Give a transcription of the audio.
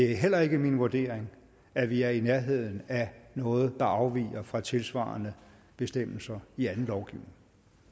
det heller ikke min vurdering at vi er i nærheden af noget der afviger fra tilsvarende bestemmelser i anden lovgivning